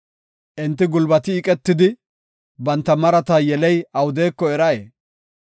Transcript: Enti gulbati eqetidi, banta marata yeley awudeko eray?